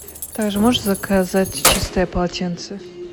так же можешь заказать чистое полотенце